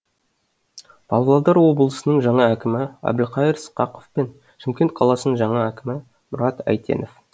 павлодар облысының жаңа әкімі әбілқайыр сқақов пен шымкент қаласының жаңа әкімі мұрат әйтенов